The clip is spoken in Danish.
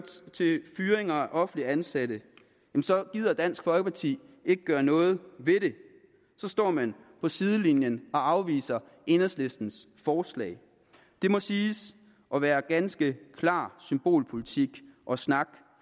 til fyringer af offentligt ansatte gider dansk folkeparti ikke gøre noget ved det så står man på sidelinjen og afviser enhedslistens forslag det må siges at være ganske klar symbolpolitik og snak